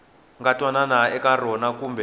nga twanana eka rona kumbe